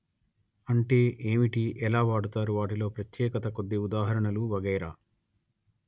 అంటే ఏమిటి ఎలా వాడుతారు వాటిలో ప్రత్యేకత కొద్ది ఉదాహరణలు వగైరా